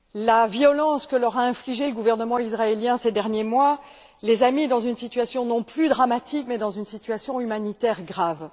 La violence que leur a infligée le gouvernement israélien ces derniers mois les a mis dans une situation non plus dramatique, mais dans une situation humanitaire grave.